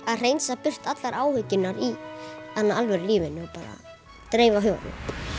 að hreinsa burt allar áhyggjurnar í alvöru lífinu bara dreifa huganum